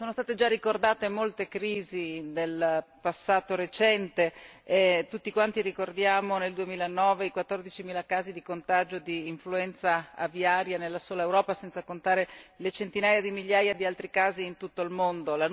Sono state già ricordate molte crisi del passato recente e tutti quanti ricordiamo nel 2009 i 14 mila casi di contagio di influenza aviaria nella sola Europa, senza contare le centinaia di migliaia di altri casi in tutto il mondo